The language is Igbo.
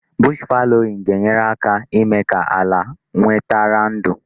Bush fallowing ga-enyere aka ímé ka ala nwetara ndụ.